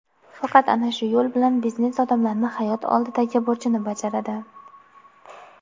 Faqat ana shu yo‘l bilan biznes odamlari hayot oldidagi burchini bajaradi.